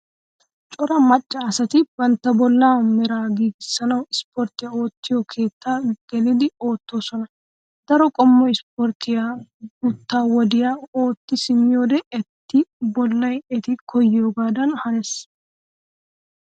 Cora Macca asati bantta bollaa meraa giigissanawu isppottiyaa oottiyoo keettaa gelidi oottoosona. Daro qommo ispporttiyaa guutta wodiyawu ootti simmiyoodee eti bollay eti koyyoogaadan hanees.